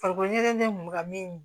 Farikolo ɲɛnajɛ kun bɛ ka min